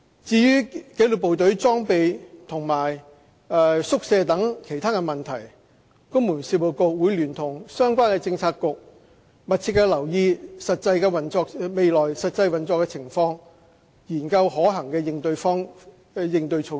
至於紀律部隊的裝備和宿舍等其他問題，公務員事務局會聯同相關政策局密切留意未來實際運作的情況，研究可行的應對措施。